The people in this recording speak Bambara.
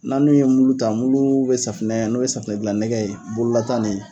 N'a n'u ye mulu ta, mulu bɛ safinɛ, n'o ye safinɛ dilan nɛgɛ ye bololata ni